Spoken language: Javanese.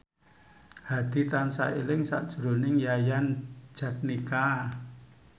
Hadi tansah eling sakjroning Yayan Jatnika